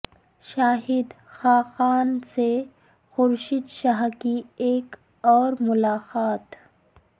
شاہد خاقان سے خورشید شاہ کی ایک اور ملاقات